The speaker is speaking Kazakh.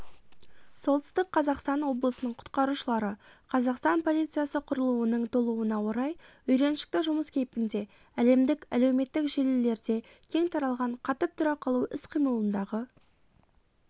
солтүстік қазақстан облысының құтқарушылары қазақстан полициясы құрылуының толуына орай үйреншікті жұмыс кейпінде әлемдік әлеуметтік желілерде кең таралған қатып тұра қалу іс-қимылындағы